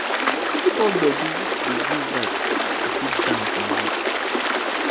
hip pop gbedu dey give vibe to fit dance and rock